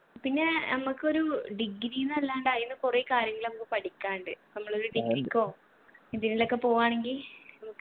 പിന്നെ അമ്മക്കൊരു degree ന്നല്ലാണ്ട് അയിന്ന് കൊറേ കാര്യങ്ങള് അമ്മക്ക് പഠിക്കാനുണ്ട് നമ്മളൊരു degree ക്കോ എന്തിനെല്ലൊക്കെ പോവ്വാണെങ്കി